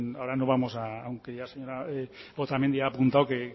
ahora no vamos aunque ya la señora otamendi ha apuntado que